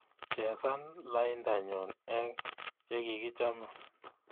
Chesan laindanyu eng chegigichame